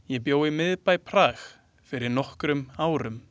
Ég bjó í miðbæ Prag fyrir nokkrum árum.